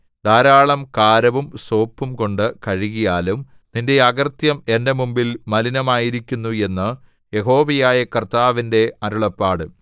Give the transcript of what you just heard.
ധാരാളം കാരവും സോപ്പും കൊണ്ട് കഴുകിയാലും നിന്റെ അകൃത്യം എന്റെ മുമ്പിൽ മലിനമായിരിക്കുന്നു എന്ന് യഹോവയായ കർത്താവിന്റെ അരുളപ്പാട്